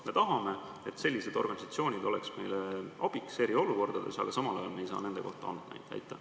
Me tahame, et sellised organisatsioonid oleks meile abiks eriolukordades, aga samal ajal ei saa me nende kohta andmeid.